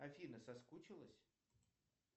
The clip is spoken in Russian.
афина соскучилась